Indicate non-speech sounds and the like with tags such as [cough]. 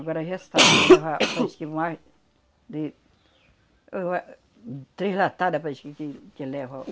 Agora resta [coughs] levar, acho que, mais de... Eu eu ah. Três latadas, parece que que, que leva.